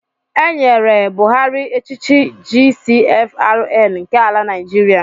E nyere Buhari echichi GCFRN nke ala Naịjiria